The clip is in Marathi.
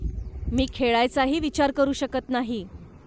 मी खेळायचाही विचार करू शकत नाही.